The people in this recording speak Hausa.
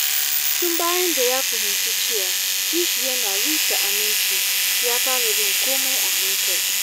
Tun bayan da ya fahimci cewa kishi yana rusa aminci, ya fara bin komai a hankali.